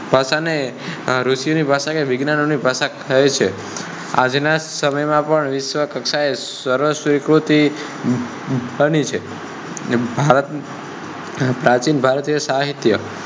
ભાષા ને ઋષિ ની ભાષા અને વિજ્ઞાન ની ભાષા કહે છે, આજ ના સમય માં પણ વિશ્વ કક્ષા એ સર્વસ્વીકૃતિ મળી છે. ભારત પ્રાચીન ભારત સાહિત્ય